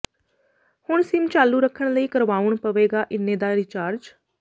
ਹੁਣ ਸਿਮ ਚਾਲੂ ਰੱਖਣ ਲਈ ਕਰਵਾਉਣ ਪਵੇਗਾ ਇੰਨੇ ਦਾ ਰਿਚਾਰਜ